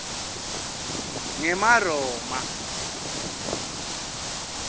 ngemaroma